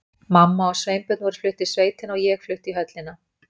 Mamma og Sveinbjörn voru flutt í sveitina og ég flutt í höllina.